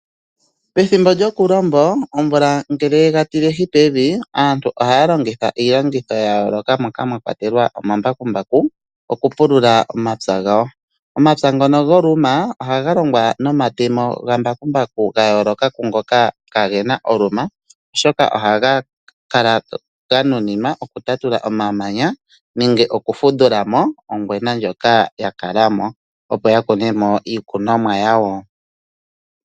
Pethimbo lyokulombo ngele omvula ye ga tilehi pevi, aantu ohaya longitha iilongitho ya yooloka moka mwa kwatelwa omambakumbaku okupulula omapya gawo. Omapya ngono goluma ohaga longwa nomatemo ga mbakumbaku ga yooloka ngoka ka gena oluma. Oshoka oha gakala ga nuninwa okutatula omamanya nenge okufundula mo ongwena ndjoka ya kala mo, opo ya kune mo iikunomwa yawo.